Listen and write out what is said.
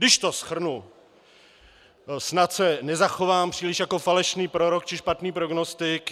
Když to shrnu, snad se nezachovám příliš jako falešný prorok či špatný prognostik.